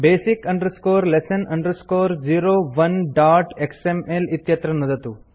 basic lesson 01xml इत्यत्र नुदतु